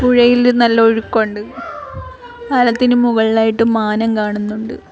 പുഴയില് നല്ല ഒഴുക്കൊണ്ട് പാലത്തിന് മുകളിലായിട്ട് മാനം കാണുന്നൊണ്ട്.